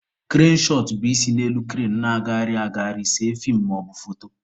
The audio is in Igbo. Krane shọt bụ isi n'elu krane na-agagharị agagharị see feem maọbụ foto.